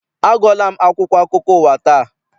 Agụọla m akwụkwọ akụkọ ụwa taa.